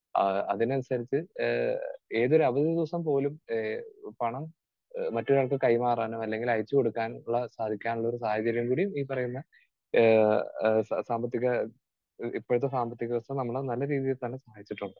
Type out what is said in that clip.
Speaker 2 ആഹ് അതിനനുസരിച്ച് ഏഹ് ഏതൊരു അവധി ദിവസം പോലും ഏഹ് പണം മറ്റൊരാൾക്ക് കൈമാറാനും അല്ലെങ്കിൽ അയച്ചുകൊടുക്കാനും സാധിക്കാനുള്ള ഒരു സാഹചര്യം കൂടി ഈ പറയുന്ന ഏഹ് സാ സാമ്പത്തിക ഇപ്പോഴത്തെ സാമ്പത്തിക സിസ്റ്റം നമ്മളെ നല്ല രീതിയിൽ തന്നെ സഹായിച്ചിട്ടുണ്ട്.